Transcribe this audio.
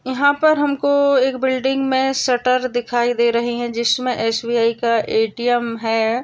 यहा पर हम को बिल्डिंग मे सटर दिखाई दे रहे है जिस मे ऐस_ बी_आई का ए_टी_एम है।